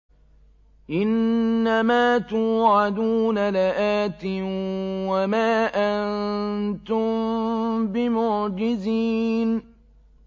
إِنَّ مَا تُوعَدُونَ لَآتٍ ۖ وَمَا أَنتُم بِمُعْجِزِينَ